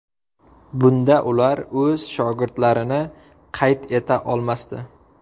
Bunda ular o‘z shogirdlarini qayd eta olmasdi.